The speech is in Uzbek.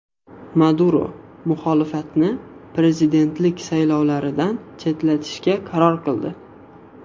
Maduro muxolifatni prezidentlik saylovlaridan chetlatishga qaror qildi.